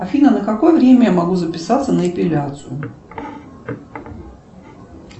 афина на какое время я могу записаться на эпиляцию